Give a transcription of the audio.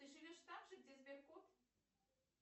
ты живешь там же где сберкот